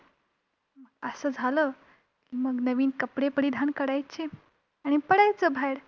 असं झालं की मग नवीन कपडे परीधान करायचे आणि पडायचं बाहेर.